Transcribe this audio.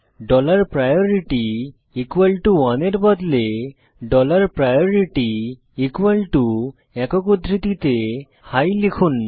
dollar priority 1 এর বদলে dollar priority একক উদ্ধৃতিতে হাই লিখুন